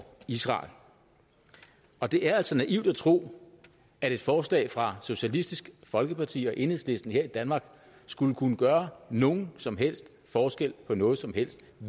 israel og det er altså naivt at tro at et forslag fra socialistisk folkeparti og enhedslisten her i danmark skulle kunne gøre nogen som helst forskel på noget som helst